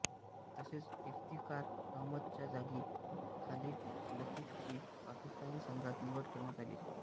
तसेच इफ्तिकार अहमदच्या जागी खालीद लतीफची पाकिस्तानी संघात निवड करण्यात आली